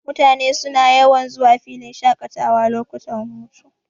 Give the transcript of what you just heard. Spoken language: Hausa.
Mutane suna yawan zuwa filin shaƙatawa lokutan hutu.,